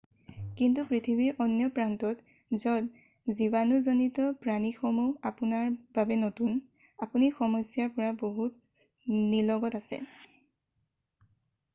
কিন্তু পৃথিৱীৰ অন্য প্ৰান্তত য'ত জীৱানুজনিত প্ৰাণীসমূহ আপোনাৰ বাবে নতুন আপুনি সমস্যাৰ পৰা বহু নিলগত আছে